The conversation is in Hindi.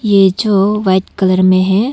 ये जो वाइट कलर में है।